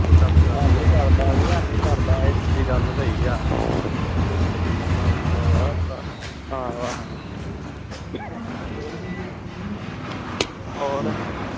ਨਹੀਂ ਸਰਦਾ ਇਹ ਤੇਰੀ ਗੱਲ ਸਹੀ ਆ ਆਹੋ ਆਹੋ ਹੋਰ